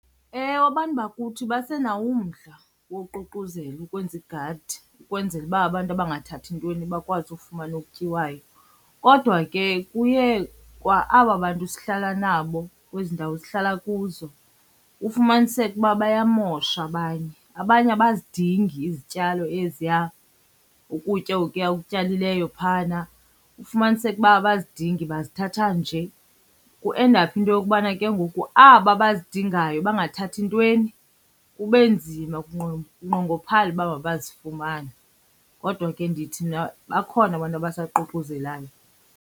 Ewe, abantu bakuthi basenawo umdla woququzela ukwenza igadi ukwenzela uba abantu abangathathi ntweni bakwazi ukufumana okutyiwayo. Kodwa ke kuye kwa-aba bantu sihlala nabo kwezi ndawo sihlala kuzo ufumaniseke uba bayamosha abanye. Abanye abazidingi izityalo eziya, ukutya okuya ukutyalileyo phayana. Ufumaniseke uba abazidingi bayazithatha nje kuendaphe into yokubana ke ngoku aba bazidingayo, bangathathi ntweni, kube nzima kunqongophale uba mabazifumane. Kodwa ke ndithi mna bakhona abantu abasaququzelayo.